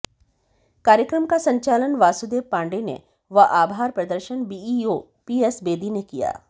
कार्यक्रम का संचालन वासुदेव पांडेय ने व आभार प्रदर्शन बीईओ पीएस बेदी ने किया